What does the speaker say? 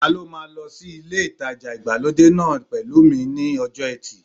Ta ló máa lọ sí ilé ìtajà ìgbàlódé náà pẹ̀lú mi ní ọjọ́ ẹtì